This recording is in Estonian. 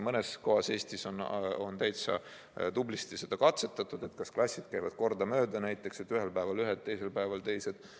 Mõnes kohas Eestis on täitsa tublisti seda katsetatud, et klassid käivad kordamööda koolis, näiteks ühel päeval ühed ja teisel päeval teised.